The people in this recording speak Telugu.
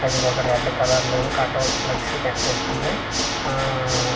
అది ఒక రెడ్ కలర్ లోనూ కటౌట్ ఫ్లెక్సీ కనిపిస్తుంది ఆఆ ఒక.